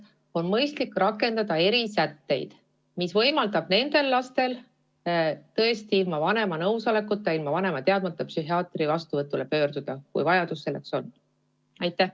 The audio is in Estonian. Siis on mõistlik rakendada erisätteid, mis võimaldavad nendel lastel ilma vanema nõusolekuta, ilma tema teadmata psühhiaatri vastuvõtule pöörduda, kui selleks on vajadus.